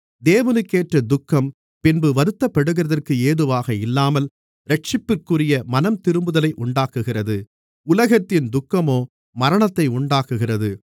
தேவனுக்கேற்ற துக்கம் பின்பு வருத்தப்படுகிறதற்கு ஏதுவாக இல்லாமல் இரட்சிப்பிற்குரிய மனந்திரும்புதலை உண்டாக்குகிறது உலகத்தின் துக்கமோ மரணத்தை உண்டாக்குகிறது